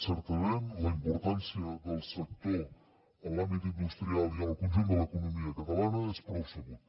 certament la importància del sector en l’àmbit industrial i en el conjunt de l’economia catalana és prou sabut